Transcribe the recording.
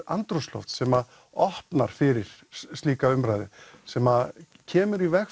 andrúmsloft sem opnar fyrir slíka umræðu sem kemur í veg